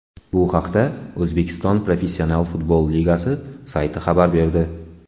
Bu haqda O‘zbekiston professional futbol ligasi sayti xabar berdi .